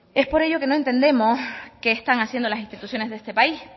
es por ello que no entendemos qué están haciendo las instituciones de este país